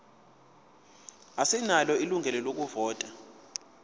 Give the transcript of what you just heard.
asinalo ilungelo lokuvota